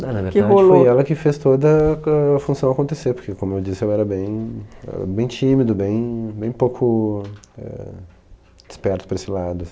Não, na verdade, foi ela que fez toda ca função acontecer, porque, como eu disse, eu era bem eu era bem tímido, bem bem pouco, eh, esperto por esse lado,